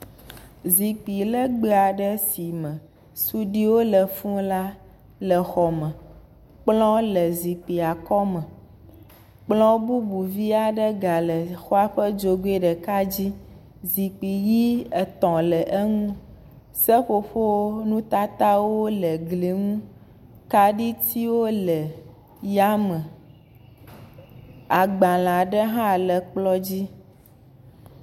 Zikpi legbea ɖe si me suiɖiwo le fuu la le xɔ me. Kplɔ le zikpuia kɔme. Kplɔ bubu vi aɖe ga le xɔa ƒe dzogoe ɖeka dzi. Zikpui ʋi etɔ̃ le eŋu. Seƒoƒonutatatawo le gli ŋu. kaɖitiwo le ya me. Agbalea ɖe hã le kplɔ dzi.